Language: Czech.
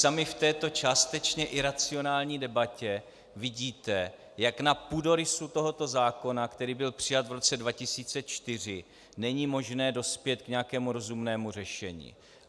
Sami v této částečně iracionální debatě vidíte, jak na půdorysu tohoto zákona, který byl přijat v roce 2004, není možné dospět k nějakému rozumnému řešení.